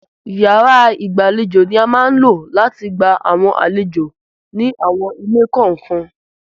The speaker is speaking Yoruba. Yàrá ìgbàlejò ni a máa ń lò láti gba àwọn àlejò ni àwọn ilé kọ̀ọ̀kan.